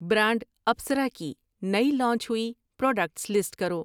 Brand Apsara کی نئی launch ہوئی پراڈکٹس لسٹ کرو ؟